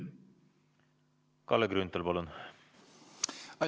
Kalle Grünthal, palun!